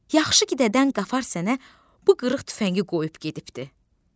Yaxşı ki dədən Qafar sənə bu qırıq tüfəngi qoyub gedibdir.